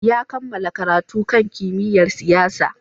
Ya kammala karatu kan kimiyyar siyasa.